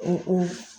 O o